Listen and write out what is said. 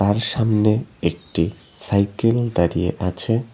আর সামনে একটি সাইকেল দাঁড়িয়ে আছে।